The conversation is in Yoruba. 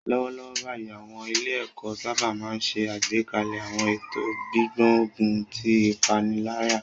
Lọ́wọ́lọ́wọ́ báyìí, àwọn ilé-ẹ̀kọ́ sábà máa ń ṣe àgbékalẹ̀ àwọn ètò gbígbógun ti ìpaniláyà